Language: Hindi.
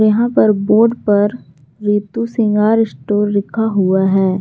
यहां पर बोर्ड पर रितु सिंगार स्टोर लिखा हुआ है।